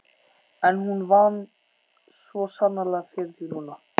En hún vann svo sannarlega fyrir því núna.